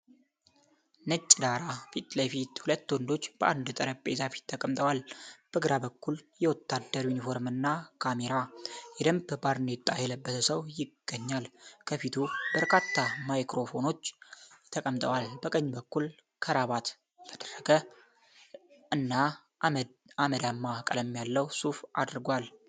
ነጭ ዳራ ፊት ለፊት ሁለት ወንዶች በአንድ ጠረጴዛ ፊት ተቀምጠዋል። በግራ በኩል የወታደር ዩኒፎርም እና ካሜራ፣ የደንብ ባርኔጣ የለበሰ ሰው ይገኛል፤ ከፊቱ በርካታ ማይክሮፎኖች ተቀምጠዋል። በቀኝ በኩል ክራቫት ያደረገ እና አመድማ ቀለም ያለው ሱፍ አድርጓል።